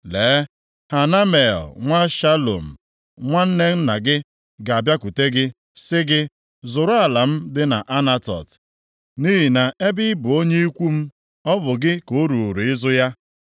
Lee, Hanamel nwa Shalum, nwanne nna gị, ga-abịakwute gị, sị gị, ‘Zụrụ ala m dị nʼAnatot, nʼihi na ebe ị bụ onye ikwu m ọ bụ gị ka o ruuru ịzụ ya.’